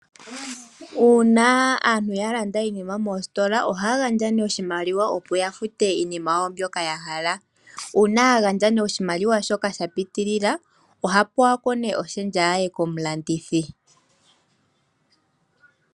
Uuna aantu yalanda iinima moositola, ohaya gandja oshimaliwa opo yafute iinima yawo mbyoka yahala . Uuna yagandja oshimaliwa shoka shapitilila, ohape wako oshendja ye komulandithi.